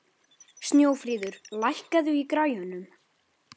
Snjófríður, lækkaðu í græjunum.